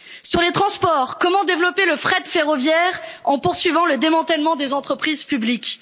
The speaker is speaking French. Sur les transports, comment développer le fret ferroviaire en poursuivant le démantèlement des entreprises publiques?